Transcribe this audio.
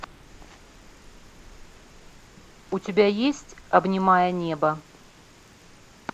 у тебя есть обнимая небо